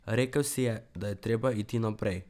Rekel si je, da je treba iti naprej.